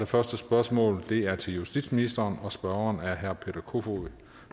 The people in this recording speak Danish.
første spørgsmål er til justitsministeren og spørgeren er herre peter kofod